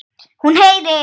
Hún heyrir.